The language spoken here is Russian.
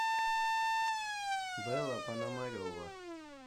белла пономарева